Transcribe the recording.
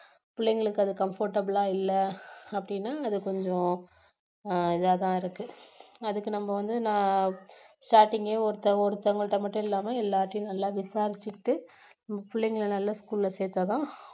பிள்ளைங்களுக்கு அது comfortable லா இல்ல அப்படின்னா அது கொஞ்சம் அஹ் இதா தான் இருக்கு அதுக்கு நம்ம வந்து நான் starting கே ஒருத்த~ஒருத்தவங்க மட்டும் இல்லாம எல்லார்ட்டையும் நல்லா விசாரிச்சிட்டு பிள்ளைங்களை நல்ல school ல சேர்த்தாதான்